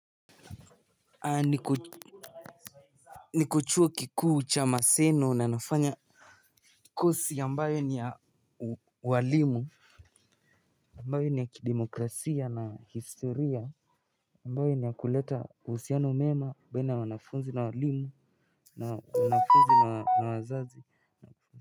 Ah niko niko chuo kikuu cha maseno na nafanya kosi ambayo ni ya uwalimu ambayo ni ya kidemokrasia na historia ambayo ni ya kuleta uhusiano mwema baina ya wanafunzi na walimu na wanafunzi na na wazazi.